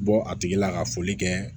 Bɔ a tigi la ka foli kɛ